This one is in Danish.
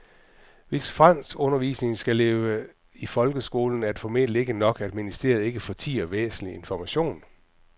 Hvis franskundervisningen skal leve i folkeskolen er det formentlig ikke nok, at ministeriet ikke fortier væsentlig information.